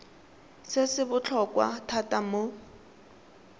se se botlhokwa thata mo